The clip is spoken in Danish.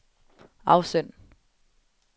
afsend